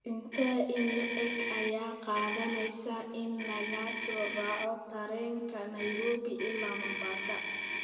intee in le'eg ayay qaadanaysaa in laga soo raaco tareen ka nairobi ilaa mombasa